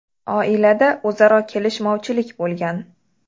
Oilada o‘zaro kelishmovchilik bo‘lgan.